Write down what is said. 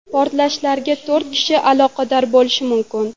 Portlashlarga to‘rt kishi aloqador bo‘lishi mumkin.